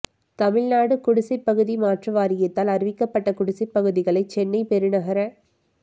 தமிழ்நாடு குடிசைப்பகுதி மாற்று வாரியத்தால் அறிவிக்கப்பட்ட குடிசைப் பகுதிகளை சென்னை பெருநகர